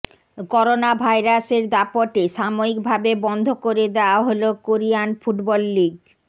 corona ভাইরাসের দাপটে সাময়িক ভাবে বন্ধ করে দেওয়া হল কোরিয়ান ফুটবল লিগ